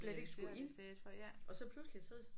Slet ikke skulle ind og så pludselig så